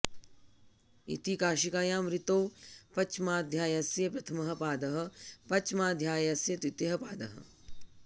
इति काशिकायां वृत्तौ पञ्चमाध्यायस्य प्रथमः पादः पञ्चमाध्यायस्य द्वितीयः पादः